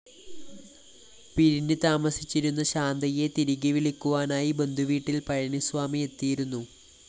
പിരിഞ്ഞ് താമസിച്ചിരുന്ന ശാന്തയെ തിരികെ വിളിക്കുവാനായി ബന്ധുവീട്ടില്‍ പഴനിസ്വാമി എത്തിയിരുന്നു